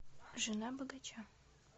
жена богача